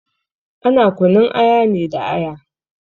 Ana kunun aya ne da aya.